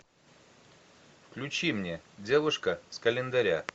включи мне девушка с календаря